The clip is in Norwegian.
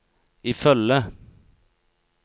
ifølge